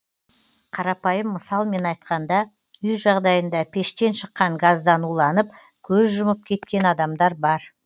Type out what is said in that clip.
қарапайым мысалмен айтқанда үй жағдайында пештен шыққан газдан уланып көз жұмып кеткен адамдар бар